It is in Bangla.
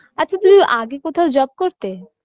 আচ্ছা তুমি আগে কোথাও job করতে